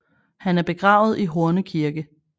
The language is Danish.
Han er begravet i Horne Kirke